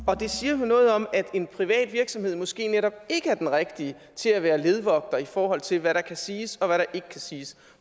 og det siger vel noget om at en privat virksomhed måske netop ikke er den rigtige til at være ledvogter i forhold til hvad der kan siges og hvad der ikke kan siges